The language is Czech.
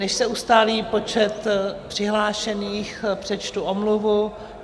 Než se ustálí počet přihlášených, přečtu omluvu.